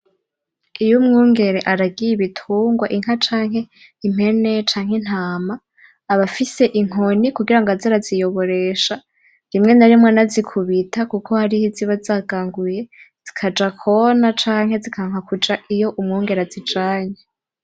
Iy’umwungere aragiye ibitungwa inka, canke impene, canke intama, aba afise inkoni kugira ngo aze araziyoboresha, rimwe na rimwe anazikubita kuko hariho iziba zaganguye, zikaja kona canke zikanka kuja iyo umwungere azijanye.